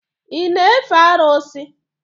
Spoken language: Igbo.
Ị na-efe arụsị?